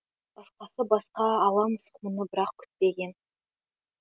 басқасы басқа ала мысық мұны бірақ күтпеген